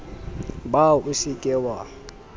ba o se ke wa